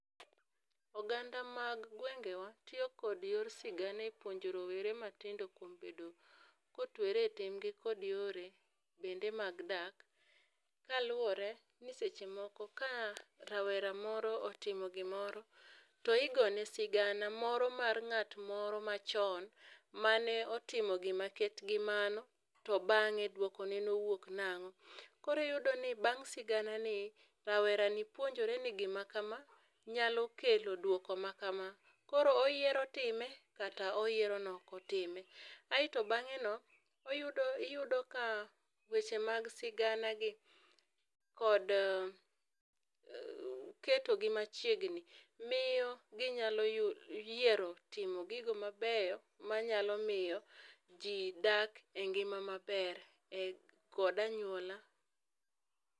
Oganda mag gwengewa tiyo kod yor sigana e puonjo rowere ma tindo kuom bedo ko twere tenge kod yore bende mag dak kaluore ni seche moko ka rawera moro otimo gi moro to igone sigana moro mar ng'at moro ma chon ma ne otimo gi ma ket gi mano to bang'e dwoko ne owuok nang'o. Koro iyudo ni bang' sigana ni rawera ni puonjore ni gi ma ka ma nyaito alo kelo dwoko ma ka ma koro oyiero timo kata oyiero ni ok otime. Aito bang'e no iyudo ka weche mag sigana gi kod keto gi machiegni miyo gi nyalo yudo gi nyalo yiero timo gigo ma beyo ma nyalo miyo ji dak e ngima ma ber e kod anyuola.